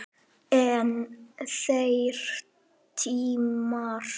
En þeir tímar!